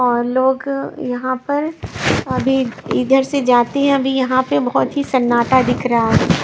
लोग यहां पर अभी इधर से जाते हैं अभी यहां पे बहुत ही सन्नाटा दिख रहा है।